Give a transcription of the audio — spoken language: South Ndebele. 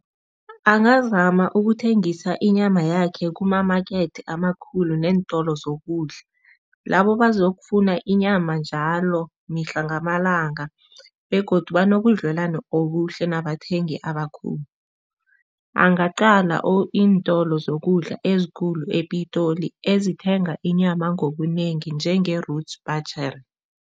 Angazama ukuthengisa inyama yakhe kumamakethe amakhulu neentolo zokudla. Labo bazokufuna inyama njalo, mihla ngamalanga begodu banobudlelwano obuhle nabathengi abakhulu. Angaqala iintolo zokudla ezikulu ePitoli ezithenga inyama ngobunengi, njenge-Roots butchery.